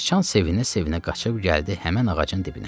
Sıcan sevinə-sevinə qaçıb gəldi həmin ağacın dibinə.